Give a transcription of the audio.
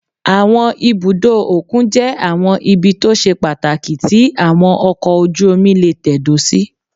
Àwọn ibùdó òkun jẹ́ àwọn ibi tó ṣe pàtàkì tí àwọn ọkọ̀ ojú-omi lè tẹ̀dó sí